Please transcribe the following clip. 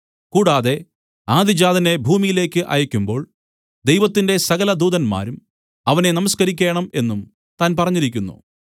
കൂടാതെ ആദ്യജാതനെ ഭൂമിയിലേക്ക് അയയ്ക്കുമ്പോൾ ദൈവത്തിന്റെ സകലദൂതന്മാരും അവനെ നമസ്കരിക്കേണം എന്നും താൻ പറഞ്ഞിരിക്കുന്നു